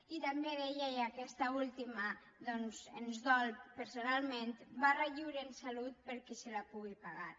i també deia i aquesta última doncs ens dol personalment barra lliure en salut per a qui se la pugui pagar